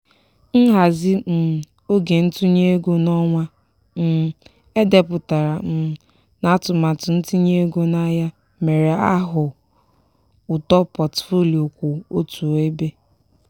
nhazi um oge ntụnye ego n'ọnwa um e depụtara um n'atụmatụ ntinye ego n'ahịa mere a hụ uto potfolio kwụ otu ebe.